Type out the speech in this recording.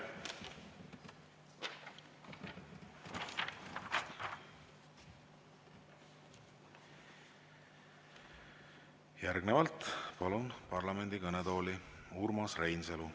Järgnevalt palun parlamendi kõnetooli Urmas Reinsalu.